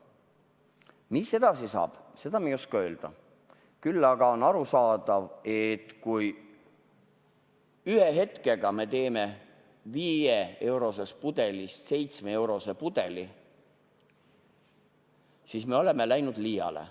Mis edasi saab, seda me ei oska öelda, küll aga on arusaadav, et kui me ühe hetkega teeme 5-eurosest pudelist 7-eurose pudeli, siis me oleme läinud liiale.